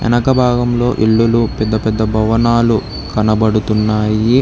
వెనక భాగంలో ఇల్లులు పెద్ద పెద్ద భవనాలు కనపడుతున్నాయి.